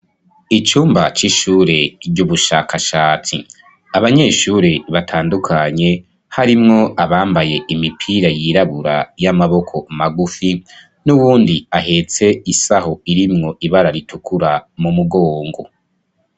Icumba c'ishure ry'ubushakashatsi, abanyeshure batandukanye harimwo abambaye imipira yirabura y'amaboko magufi, n'ubundi ahetse isaho irimwo ibara ritukura mu mugongo.